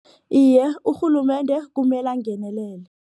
Iye, urhulumende kumele angenelele.